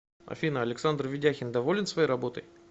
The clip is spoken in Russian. афина александр ведяхин доволен своей работой